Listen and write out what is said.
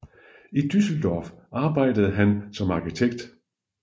I Düsseldorf arbejdede han som arkitekt